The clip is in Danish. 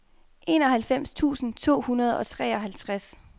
enoghalvfems tusind to hundrede og treoghalvtreds